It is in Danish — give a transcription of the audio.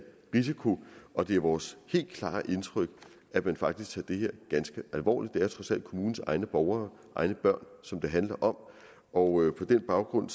risiko og det er vores helt klare indtryk at man faktisk tager det her ganske alvorligt det er trods alt kommunens egne borgere egne børn som det handler om og på den baggrund